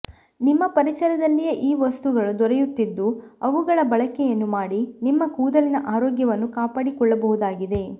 ನಿಮ್ಮ ಪರಿಸರದಲ್ಲಿಯೇ ಈ ವಸ್ತುಗಳು ದೊರೆಯುತ್ತಿದ್ದು ಅವುಗಳ ಬಳಕೆಯನ್ನು ಮಾಡಿ ನಿಮ್ಮ ಕೂದಲಿನ ಆರೋಗ್ಯವನ್ನು ಕಾಪಾಡಿಕೊಳ್ಳಬಹುದಾಗಿದೆ